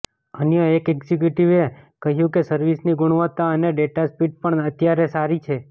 અન્ય એક એક્ઝિક્યુટિવે કહ્યું કે સર્વિસની ગુણવત્તા અને ડેટા સ્પીડ પણ અત્યારે સારી છે